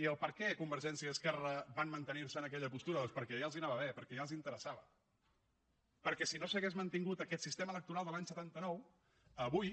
i per què convergència i esquerra van mantenir se en aquella postura doncs perquè ja els anava bé perquè ja els interessava perquè si no s’hagués mantingut aquest sistema electoral de l’any setanta nou avui